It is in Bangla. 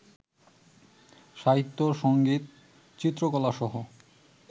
সাহিত্য, সংগীত, চিত্রকলাসহ